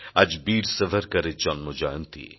আজ বীর সাভারকরের জন্মজয়ন্তী